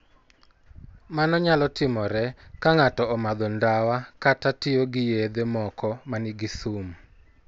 Mano nyalo timore ka ng'ato omadho ndawa kata tiyo gi yedhe moko ma nigi sum.